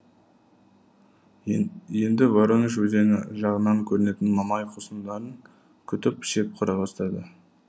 енді воронеж өзені жағынан көрінетін мамай қосындарын күтіп шеп құра бастады